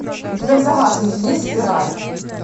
у тебя в загашнике есть спираль